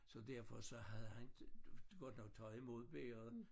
Så derfor så havde han godt nok taget imod bægeret